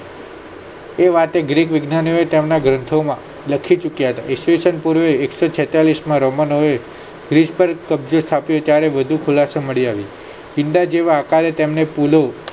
એ વાતે ગ્રીક વેજ્ઞાનીક કાં ના ગોઠવણ માં લખી ચુક્યા ઈસવીસન પૃર્વે એક્સો છેંતાલીસ માં રમાના ઓ એ ખ્રીસ્થન કબજન સાથે ત્યારે વધારે ખુલાસો મળી આવેલ ઈંડા જેવા આકારે તેમને ખુલો